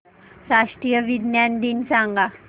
राष्ट्रीय विज्ञान दिन सांगा